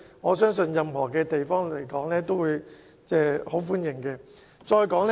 我相信任何地方都會很歡迎興建故宮文化博物館。